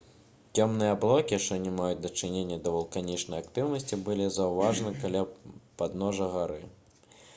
цёмныя аблокі што не маюць дачынення да вулканічнай актыўнасці былі заўважаны каля падножжа гары